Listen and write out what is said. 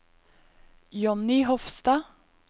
Johnny Hofstad